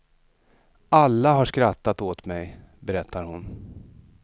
Alla har skrattat åt mig, berättar hon.